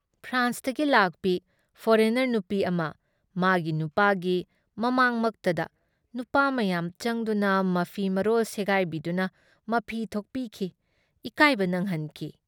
ꯐ꯭ꯔꯥꯟꯁꯇꯒꯤ ꯂꯥꯛꯄꯤ ꯐꯣꯔꯦꯅꯔ ꯅꯨꯄꯤ ꯑꯃ, ꯃꯥꯒꯤ ꯅꯨꯄꯥꯒꯤ ꯃꯃꯥꯡꯃꯛꯇꯗ ꯅꯨꯄꯥ ꯃꯌꯥꯝ ꯆꯪꯗꯨꯅ ꯃꯐꯤ ꯃꯔꯣꯜ ꯁꯦꯒꯥꯏꯕꯤꯗꯨꯅ ꯃꯐꯤ ꯊꯣꯛꯄꯤꯈꯤ, ꯏꯀꯥꯏꯕ ꯅꯪꯍꯟꯈꯤ ꯫